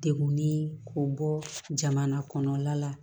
Degunnin k'o bɔ jamana kɔnɔla la